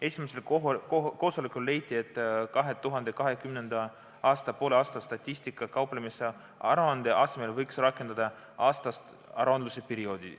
Esimesel koosolekul leiti, et 2020. aastal võiks poolaastapõhise aruandlusperioodi asemel rakendada aastast aruandlusperioodi.